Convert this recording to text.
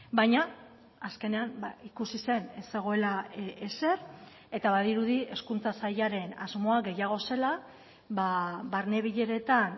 baina azkenean ikusi zen ez zegoela ezer eta badirudi hezkuntza sailaren asmoa gehiago zela barne bileretan